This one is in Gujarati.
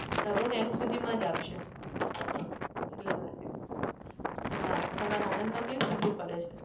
લગભગ end સુધીમાં જ આવશે એટલા માટે હા તમારે આણદમાં કેવી ઠંડી પડે છે?